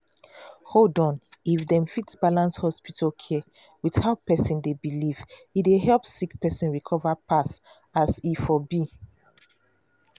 hold on if dem fit balance hospital care with how person dey believe e dey help sick person recover pass as e for be.